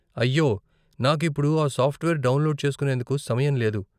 అయ్యో, నాకు ఇప్పుడు ఆ సాఫ్ట్వేర్ డౌన్లోడ్ చేస్కునేందుకు సమయం లేదు.